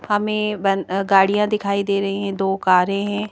हमें ब गाड़ियां दिखाई दे रही हैं दो कारें हैं।